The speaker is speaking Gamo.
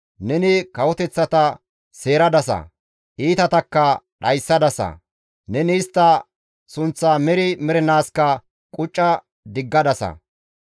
Neni kawoteththata seeradasa; iitatakka dhayssadasa; neni istta sunththaa meri mernaaskka qucca diggadasa.